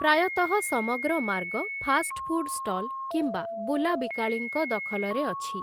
ପ୍ରାୟତଃ ସମଗ୍ର ମାର୍ଗ ଫାଷ୍ଟ ଫୁଡ୍ ଷ୍ଟଲ୍‌ କିମ୍ବା ବୁଲା ବିକାଳୀଙ୍କ ଦଖଲରେ ଅଛି ।